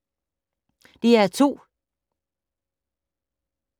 DR2